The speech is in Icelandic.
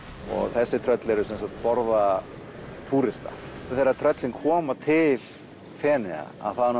þessi tröll borða túrista þegar tröllin koma til Feneyja